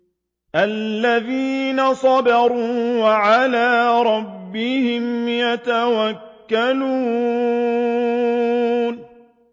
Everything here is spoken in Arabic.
الَّذِينَ صَبَرُوا وَعَلَىٰ رَبِّهِمْ يَتَوَكَّلُونَ